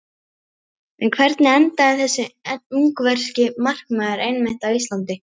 En hvernig endaði þessi ungverski markmaður einmitt á Íslandi?